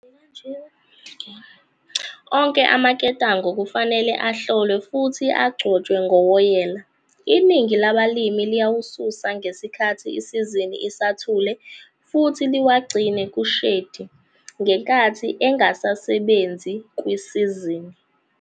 Onke amaketango kufanele ahlolwe futhi agcotshwe ngowoyela, iningi labalimi liyawasusa ngesikhathi isizini isathule futhi liwagcine ku-shedi ngenkathi engasasebenzi kwisizini.